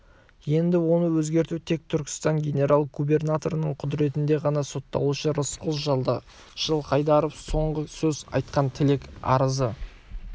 енді оны өзгерту тек түркістан генерал-губернаторының құдіретінде ғана сотталушы рысқұл жылқайдаровқа соңғы сөз қандай тілек арызы